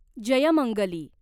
Jaymangali